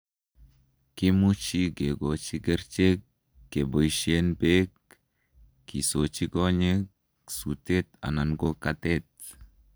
kimuchi kigochi kerichek keboisien beek, kisoochi konyek, suteet anan ko katet.